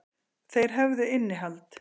Þeir hefðu innihald.